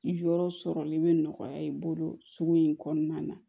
Yɔrɔ sɔrɔli bɛ nɔgɔya i bolo sugu in kɔnɔna na